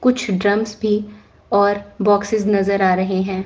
कुछ ड्रम्स भी और बाक्सेज नजर आ रहे हैं।